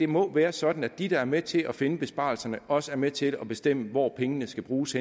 må være sådan at de der er med til at finde besparelserne også er med til at bestemme hvor pengene skal bruges